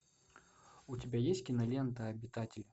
у тебя есть кинолента обитатель